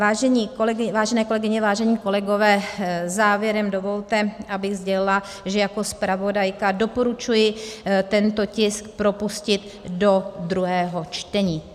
Vážené kolegyně, vážení kolegové, závěrem dovolte, abych sdělila, že jako zpravodajka doporučuji tento tisk propustit do druhého čtení.